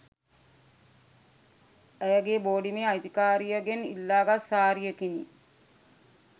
ඇයගේ බෝඩිමේ අයිතිකරියගෙන් ඉල්ලාගත් සාරියකිනි